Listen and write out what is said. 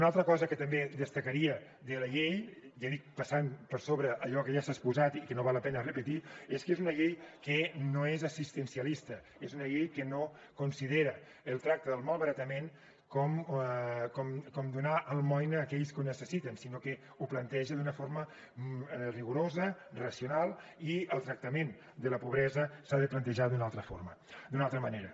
una altra cosa que també destacaria de la llei ja he dit passant per sobre allò que ja s’ha exposat i que no val la pena repetir és que és una llei que no és assistencialista és una llei que no considera el tracte del malbaratament com donar almoina a aquells que ho necessiten sinó que ho planteja d’una forma rigorosa racional i el tractament de la pobresa s’ha de plantejar d’una altra forma d’una altra manera